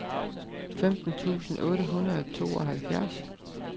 femten tusind otte hundrede og tooghalvfjerds